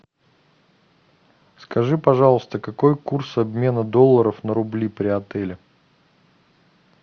скажи пожалуйста какой курс обмена долларов на рубли при отеле